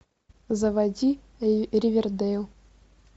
заводи ривердейл